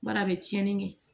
Bari a bɛ tiɲɛni kɛ